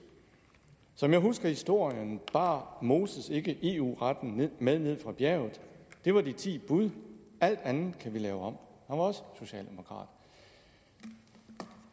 som jeg husker historien bar moses ikke eu retten med ned fra bjerget det var de ti bud alt andet kan vi lave om han også socialdemokrat